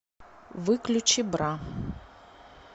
выключи бра